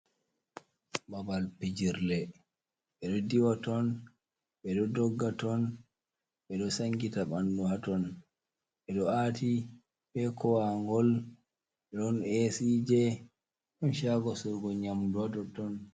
Baɓal vijirle ɓedo diwa ton ɓedo dogga ton ɓedo sangita bandu haton, ɓedo ati be koagol don Ac je don shago sorugo nyamdu ha totton.